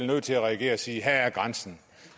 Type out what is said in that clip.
nødt til at reagere og sige her går grænsen